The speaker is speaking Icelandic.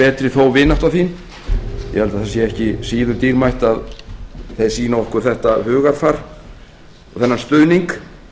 betri þó vinátta þín ég held að það sé ekki síður dýrmætt að þeir sýni okkur þetta hugarfar og þennan stuðning